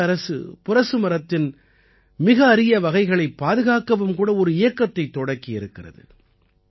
மாநில அரசு புரச மரத்தின் மிக அரிய வகைகளைப் பாதுகாக்கவும் கூட ஒரு இயக்கத்தைத் தொடக்கி இருக்கிறது